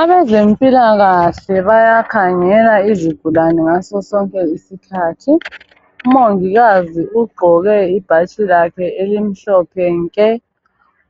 Abezempilakahle bayamkhangela izigulane ngaso sonke isikhathi . Umongikazi ugqoke ibhatshi lakhe elimhlophe nke.